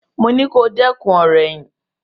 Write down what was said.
Mo ní kó dẹ́kun ọ̀rọ̀ ẹ̀yìn!